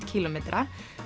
kílómetra